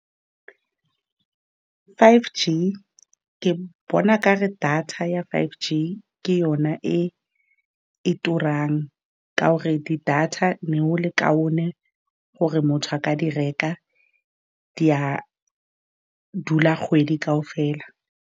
Five G ke bona, o ka re data ya five G ke yona e e turang, ka gore di data ne go le kaone gore motho a ka di reka, di a dula kgwedi kaofela.